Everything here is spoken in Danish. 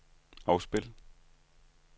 afspil